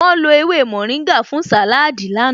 Wọ́n lo ewé mórìngà fún sàláádì àná